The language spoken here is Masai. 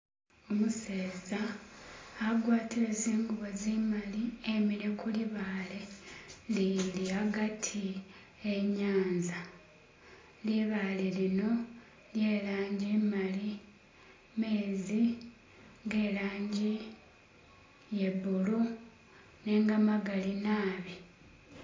Umuseeza agwatire zingubo zimari imikile kwibaale iliri agatti wenyanza, libaale lino lye langi imali, amenzi ge langi iya blue nenga gamagali nabi